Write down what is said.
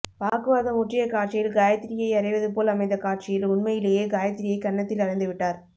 வாக்குவாதம் முற்றிய காட்சியில் காயத்ரியை அறைவதுபோல் அமைந்தகாட்சியில் உண்மையிலேயே காயத்ரியை கன்னத்தில் அறைந்துவிட்டார்